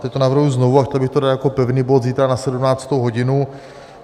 Teď to navrhuji znovu a chtěl bych to dát jako pevný bod zítra na 17. hodinu.